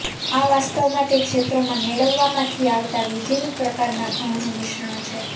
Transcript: આ વાસ્તવ માં તે ક્ષેત્રો માં મેળવવા માંથી આવતા વિભિન્ન પ્રકારના ઘઉં નું મિશ્રણ છે